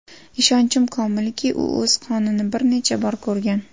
Ishonchim komilki, u o‘z qonini bir necha bor ko‘rgan.